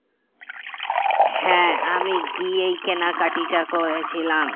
হ্যাঁ আমি গিয়েই কেনাকাটিটা করেছিলাম